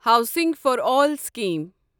housing for all scheme